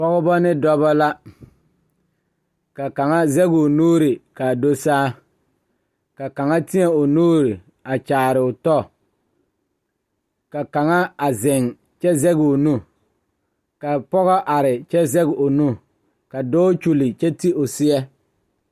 Dɔɔba ba ba zeŋ leɛ la ba puori ko zie ba naŋ daare bayi zeŋ ta la teŋa bata vɔgle la sapele naŋ waa peɛle bonyene vɔgle sapele naŋ e sɔglɔ ba taa la ba tontuma boma kaa waa buluu.